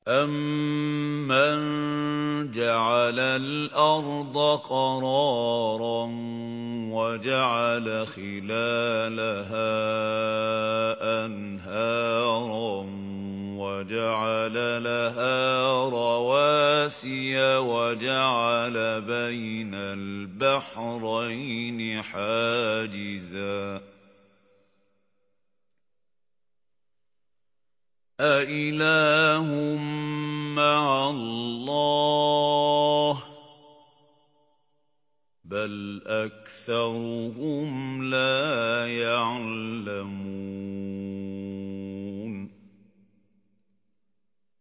أَمَّن جَعَلَ الْأَرْضَ قَرَارًا وَجَعَلَ خِلَالَهَا أَنْهَارًا وَجَعَلَ لَهَا رَوَاسِيَ وَجَعَلَ بَيْنَ الْبَحْرَيْنِ حَاجِزًا ۗ أَإِلَٰهٌ مَّعَ اللَّهِ ۚ بَلْ أَكْثَرُهُمْ لَا يَعْلَمُونَ